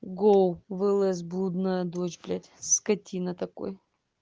гоу в лс блудная дочь блять скотина такой